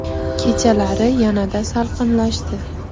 Kechalari yanada salqinlashdi.